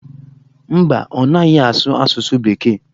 Mba, ọ naghị asụ asụsụ bekee.